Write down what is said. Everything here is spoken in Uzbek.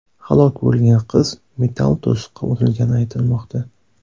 Halok bo‘lgan qiz metall to‘siqqa urilgani aytilmoqda.